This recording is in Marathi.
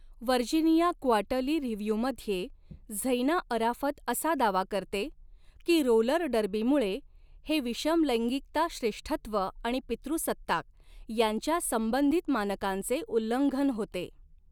व्हर्जिनिया क्वार्टर्ली रिव्ह्यूमध्ये झैना अराफत असा दावा करते की रोलर डर्बीमुळे हे विषमलैंगिकता श्रेष्ठत्व आणि पितृसत्ताक यांच्यासंबंधित मानकांचे उल्लंघन होते.